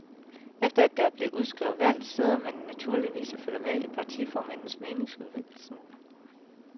Efter at der er blevet udskrevet valg, sidder man naturligvis og følger med i partiformændenes meningsudvekslinger.